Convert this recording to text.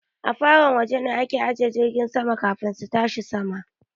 Afaron waje ne na ajiye jiragen sama kafin su tashi sama